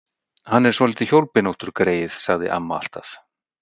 Hann er svolítið hjólbeinóttur, greyið, sagði amma alltaf.